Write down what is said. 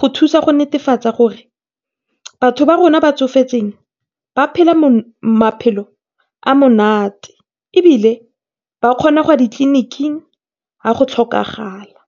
go thusa go netefatsa gore batho ba rona ba tsofetseng, ba phela maphelo a monate ebile ba kgona goya ditleniking ga go tlhokagala.